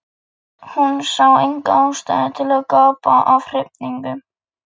Hún sá enga ástæðu til að gapa af hrifningu.